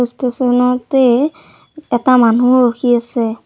Station তেই এটা মানুহ ৰখি আছে।